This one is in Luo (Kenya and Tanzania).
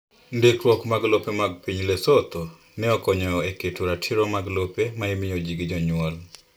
Ndikruok mag lope mag piny Lesotho ne okonyo e keto ratiro mar lope ma imiyo ji gi jonyuol.